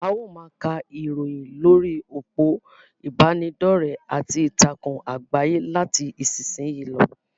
A ó máa ka ìròyìn lórí òpó ìbánidọ́rẹ̀ àti ìtàkùn àgbáyé láti ìsìn yìí lọ.